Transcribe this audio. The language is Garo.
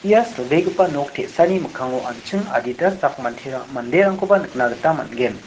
ia silbegipa nok te·sani mikkango an·ching adita sak mantera-manderangkoba nikna gita man·gen.